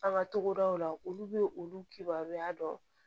An ka togodaw la olu bɛ olu kibaruya dɔn